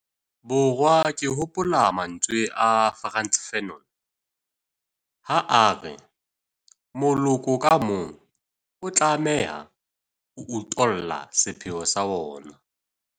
Borwa ke hopola mantswe a Frantz Fanon ha a re 'moloko ka mong o tlameha ho utolla sepheo sa ona'.